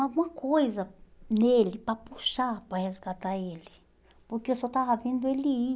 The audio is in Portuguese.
alguma coisa nele para puxar, para resgatar ele, porque eu só estava vendo ele ir.